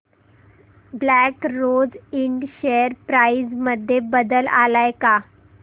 black Rose Ind share price मध्ये बदल आलाय का